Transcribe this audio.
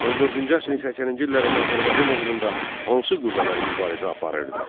14-cü əsrin 80-ci illərində Azərbaycan uğrunda hansı qüvvələr mübarizə aparırdı?